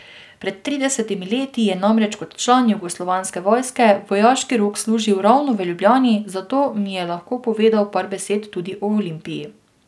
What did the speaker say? Pred tridesetimi leti je namreč kot član jugoslovanske vojske vojaški rok služil ravno v Ljubljani, zato mi je lahko povedal par besed tudi o Olimpiji.